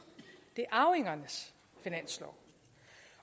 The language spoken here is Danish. det er arvingernes finanslov